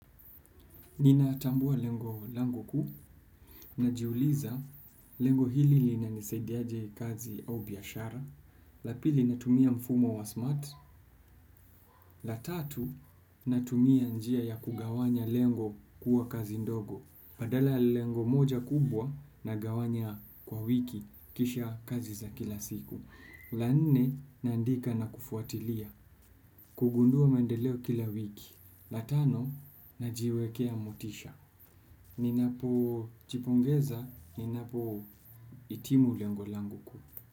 Ninatambua lengo kuu najiuliza lengo hili linanisaidiaje kazi au biashara. La pili natumia mfumo wa smart. La tatu natumia njia ya kugawanya lengo kuwa kazi ndogo. Badala ya lengo moja kubwa nagawanya kwa wiki kisha kazi za kila siku. La nne naandika na kufuatilia kugundua maendeleo kila wiki. La tano najiwekea motisha. Ninap jipongeza, ninapohitimu lengo langu kuu.